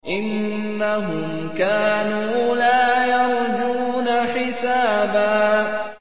إِنَّهُمْ كَانُوا لَا يَرْجُونَ حِسَابًا